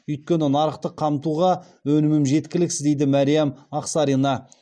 өйткені нарықты қамтуға өнімім жеткіліксіз дейді мәриям ақсарина